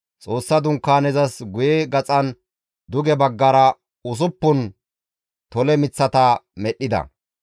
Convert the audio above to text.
Xoossa Dunkaanezas guye gaxan duge baggara usuppun tole miththata medhdhida.